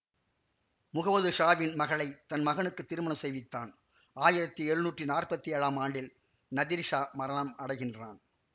முகமது ஷாவின் மகளை தன் மகனுக்கு திருமணம் செய்வித்தான் ஆயிரத்தி எழுநூற்றி நாற்பத்தி ஏழாம் ஆண்டில் நதீர் ஷா மரணம் அடைகின்றான்